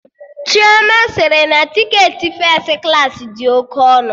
Chioma sịrị na tiketi fes klaasị dị oke ọnụ